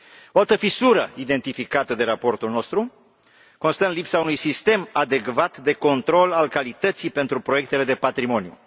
O altă fisură identificată de raportul nostru constă în lipsa unui sistem adecvat de control al calității pentru proiectele de patrimoniu.